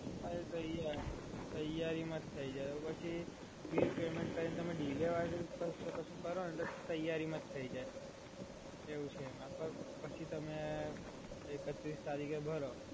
અરે તૈયારી માં જ થય જાય અને પછી બિલ પેમેન્ટ કરીને તમે ડીલે કર્યા વગર કશું કરસો ને તો તૈયારી માં જ થય જાય. એવું છે એમાં પણ પછી તમે એકત્રીસ તારીખે ભરો